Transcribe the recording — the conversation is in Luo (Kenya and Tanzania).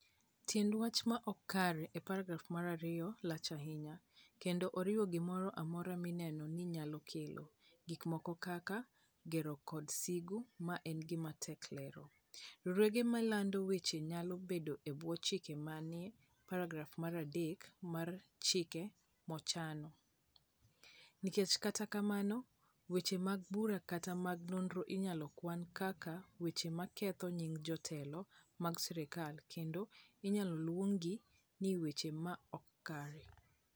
Tiend "wach ma ok kare" e paragraf mar 2 lach ahinya, kendo oriwo gimoro amora mineno ni nyalo kelo, gik moko kaka, gero kod sigu (ma en gima tek lero)... Riwruoge milandoe weche nyalo bedo e bwo chike manie paragraf mar 3 mar chik mochanno, nikech kata mana weche mag bura kata mag nonro inyalo kwan kaka weche ma ketho nying jotelo mag sirkal kendo inyalo luonggi ni "wach ma ok kare".